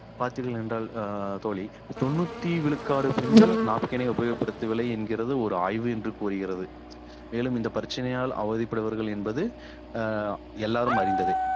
பார்த்தீர்கள் என்றால் அஹ் தோழி தொண்ணூத்தி விழுக்காடு பெண்கள் napkin ஐ உபயோகப்படுத்தவில்லை என்கிறது ஒரு ஆய்வு என்று கூறுகிறது மேலும் இந்த பிரச்சனையால் அவதிப்படுபவர்கள் என்பது அஹ் எல்லாரும் அறிந்ததே